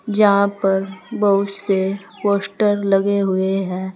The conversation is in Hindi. जहां पर बहुत से पोस्टर लगे हुए हैं।